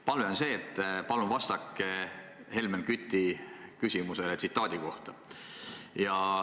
Palve on see, et palun vastake Helmen Küti küsimusele tsitaadi kohta.